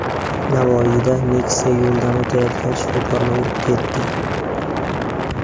Navoiyda Nexia yo‘ldan o‘tayotgan shifokorni urib ketdi.